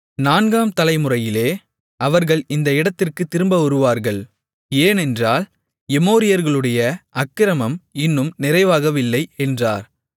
நான்காம் தலை முறையிலே அவர்கள் இந்த இடத்திற்குத் திரும்ப வருவார்கள் ஏனென்றால் எமோரியர்களுடைய அக்கிரமம் இன்னும் நிறைவாகவில்லை என்றார்